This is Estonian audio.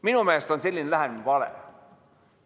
Minu meelest on selline lähenemine vale.